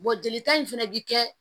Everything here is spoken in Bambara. jelita in fɛnɛ bi kɛ